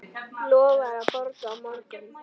Lofar að borga á morgun.